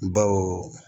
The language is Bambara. Baw